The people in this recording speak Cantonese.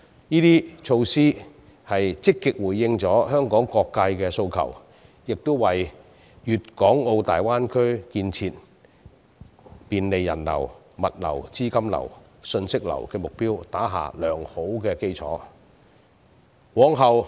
這些措施均積極回應了香港各界的訴求，亦為大灣區的建設，以及便利人流、物流、資金流、信息流的目標打下良好基礎。